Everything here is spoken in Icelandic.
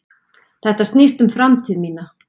Þetta snýst um framtíð mína.